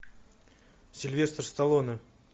сильвестр сталлоне